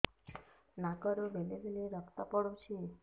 ନାକରୁ ବେଳେ ବେଳେ ରକ୍ତ ପଡୁଛି